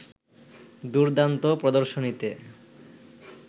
দুর্দান্ত প্রদর্শনীতে